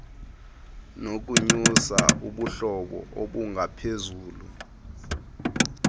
nokunyusa ubuhlobo obungaphezulu